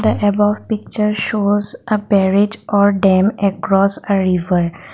the above picture shows a barrage or dam across a river.